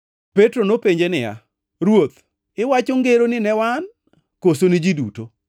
Petro nopenje niya, “Ruoth iwacho ngeroni ni wan koso ni ji duto?”